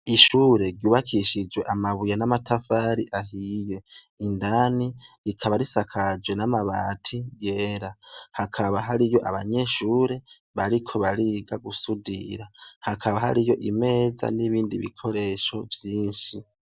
Ishure ryubakishijwe amabuye n'amatafari aturiye i ruhande hariho ibarabarary'ika burimbi hamwe n'ikaburimbi rigenda kw'ishure hamwe n'ikibuga abanyeshure baruhukiramwo iyo bagiye mu karuhuko.